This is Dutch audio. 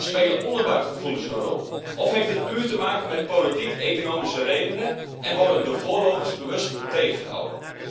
Spelen onderbuikgevoelens een rol of heeft het puur te maken met politiek economische redenen en worden de voorlopers bewust tegengehouden?